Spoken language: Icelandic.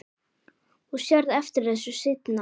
Þú sérð eftir þessu seinna.